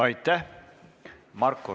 Aitäh!